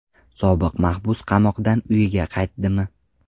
Sobiq mahbus qamoqdan uyiga qaytdimi?